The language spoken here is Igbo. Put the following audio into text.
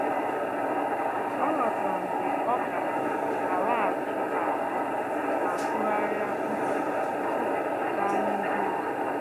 Ọ́ ghọ́tàrà mgbe ọ́ gà-àlàghàchí ázụ́ ma tụ́gharị́a úchè tupu ọ́ gàá n’ihu ọzọ.